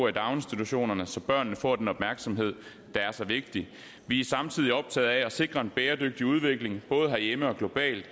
i daginstitutionerne så børnene får den opmærksomhed der er så vigtig vi er samtidig optaget af at sikre en bæredygtig udvikling både herhjemme og globalt